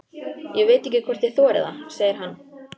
Ég veit ekki hvort ég þori það, segir hann.